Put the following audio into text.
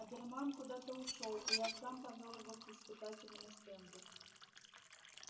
оберман куда-то ушёл и я сам повёл его к испытательному стенду